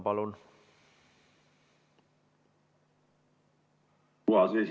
Palun!